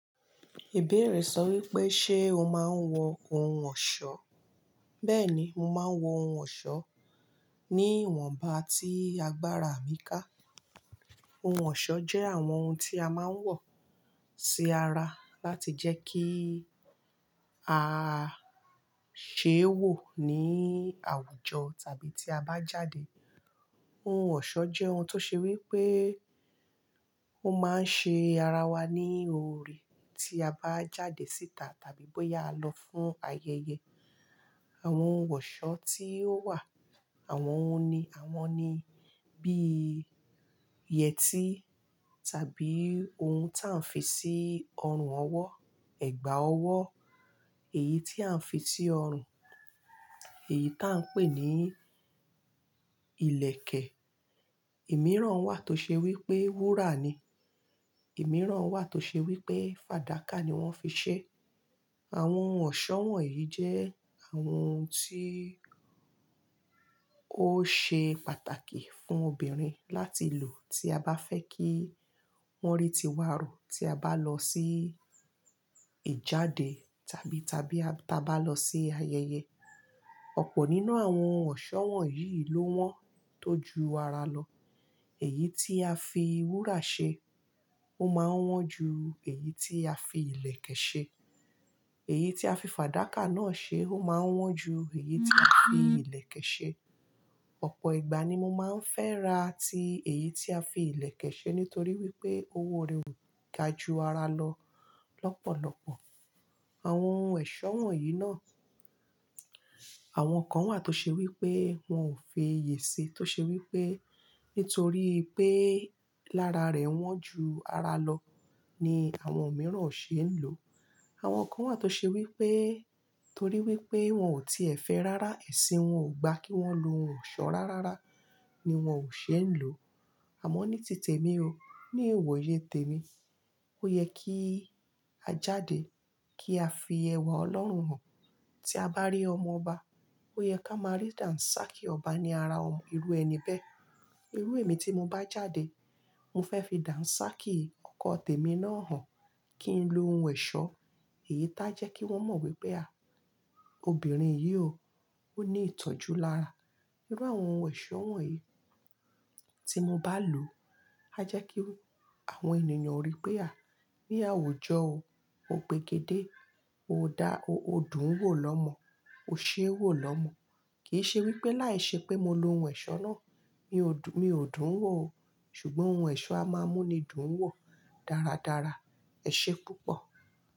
Ìbéèrè sọ wípé, ṣe o máa ń wọ ohun ọ̀ṣọ́? Bẹ́ẹ̀ni, mo máa ń wọ ohun ọ̀ṣọ́ ní ìwọ̀nba tí agbára mi ká. Ohun ọ̀ṣọ́ jẹ́ àwọn ohun tí a máa ń wọ̀ sí ara láti jẹ́ kí a ṣe wò ní àwùjọ tàbí tí a bá jáde. Ohun ọ̀ṣọ́ jẹ́ ohun tó ṣe wípé ó máa ń ṣe ara wa ní ore tí a bá jáde síta tàbí bóyá a lọ fún ayẹyẹ. Àwọn ohun ọ̀ṣọ́ tí ó wà, àwọn òun ní, àwọn ni bí ìyẹtí tàbí ohun tí à ń fi sí ọrùn ọwọ́, ẹ̀gbà ọwọ́, èyí tí à ń fi sí ọrùn, èyí tí à ń pè ní ilẹ̀kẹ̀. Ìmíràn wà tó ṣe wípé wúrà ni. Ìmíràn wà tó ṣe wípé fàdákà ni wón fi ṣe. Àwọn ohun ọ̀ṣọ́ wọ̀nyí jẹ́ àwọn ohun tí ó ṣe pàtàkì fún obìnrin láti lò tí a bá fẹ́ kí wón rí tiwa rò tí a bá lọ sí ìjáde tàbí, tàbí tabá lọ sí ayẹyẹ. Ọ̀pọ̀ nínú àwọn ohun ọ̀ṣọ́ wọ̀nyí ló wọ́n tó ju ara lọ. Èyí tí a fi wúrà ṣe, ó máa ń wọ́n ju èyí tí a fi ilẹ̀kẹ̀ ṣe. Èyí tí a fi fàdákà náà ṣe, ó máa ń wọ́n ju èyí tí a fi ilẹ̀kẹ̀ ṣe. Ọ̀pọ̀ ìgbà ni mo máa ń fẹ́ra ti èyí tí a fi ilẹ̀kẹ̀ ṣe nítorí wípé owó rẹ̀ ò ga ju ara lọ lọ́pọ̀lọ́pọ̀. Àwọn ohun ọ̀ṣọ́ wọ̀nyí náà, àwọn kan wà tó ṣe wípé wọn ò feyè ṣe, tó ṣe wípé nítorí pé lára rẹ̀ wọ́n ju ara lọ ni àwọn mìíràn ò ṣe ń lò. Àwọn kan wà tó ṣe wípé torí wípé wọn ò tíe fẹ́ rárá, ẹ̀sìn wọn ò gba kí wọ́n lo ohun ọ̀ṣọ́ rárára ni wón ò ṣe ń lò. Àmọ́ ní títè mi o, ní iwòye tèmi, ó yẹ kí a jáde kí a fi ẹwà Ọlọ́run hàn. Tí a bá rí ọmọ ọba, ó yẹ ká máa rí dàǹsákí ọba ní ara ọmọ, irú ẹni bẹ́. Irú èmi tí mo bá jáde, mo fẹ́ fi dàǹsákí ọkọ tèmi náà hàn kí n lo ohun ọ̀ṣọ́ èyí tá jẹ́ kí wọ́n mọ̀ wípé a, obìnrin yìí o, ó ní ìtọ́jú lára. Irú àwọn ohun ọ̀ṣọ́ wọ̀nyí tí mo bá lò, a jẹ́ kí àwọn ènìyàn rí pé a, ní àwùjọ o, o gbegedé, o dá, o, o dùn ún wò lọ́mọ, o ṣe é wò lọ́mọ. Kì í ṣe wípé láìṣẹ́ pé mo lo ohun ọ̀ṣọ́ náà, mi ò, mi ò dùn ún wò o, ṣùgbọ́n ohun ọ̀ṣọ́ a máa mú ni dùn ún wò dáradára. Ẹ̀ṣẹ́ púpọ̀.